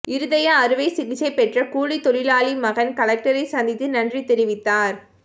இருதய அறுவை சிகிச்சை பெற்ற கூலித்தொழிலாளி மகன் கலெக்டரை சந்தித்து நன்றி தெரிவித்தார்